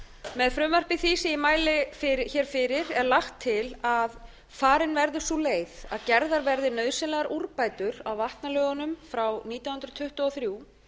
með frumvarpi því sem ég mæli hér fyrir er lagt til að farin verði sú leið að gerðar verði nauðsynlegar úrbætur á vatnalögunum frá nítján hundruð tuttugu og þrjú